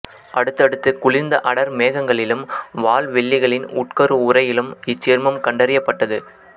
அடுத்தடுத்து குளிர்ந்த அடர் மேகங்களிலும் வால்வெள்ளிகளின் உட்கரு உறையிலும் இச்சேர்மம் கண்டறியப்பட்டது